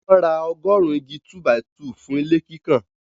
Wọ́n ra ọgọrùn-ún igi 2-by-2 fún ilé kíkàn.